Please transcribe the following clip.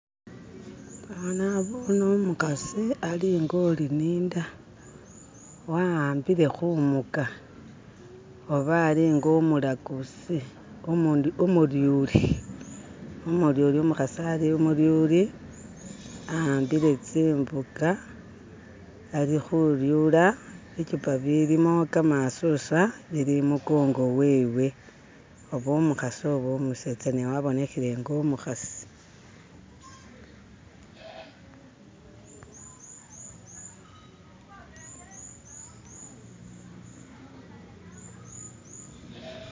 Ano nabone umukasi ali nga uli ni inda wawambile kumuga oba ali nga umulaguzi umuntu umulyuli, umulyuli umukasi ali umulyuli awambile zimuga ali kulyula bikyupa ibilimo gamasuswa ibili imugongo wewe, oba umukasi oba umeseza ne wabonekele nga umukasi.